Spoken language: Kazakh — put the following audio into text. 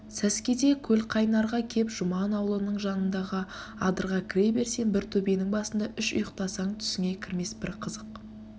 сәскеде көлқайнарға кеп жұман аулының жанындағы адырға кіре берсем бір төбенің басында үш ұйқтасаң түсіңе кірмес бір қызық